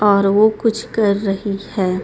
और वो कुछ कर रही है.